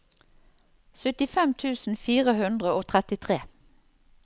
syttifem tusen fire hundre og trettitre